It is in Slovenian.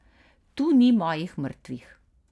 Tu ni mojih mrtvih.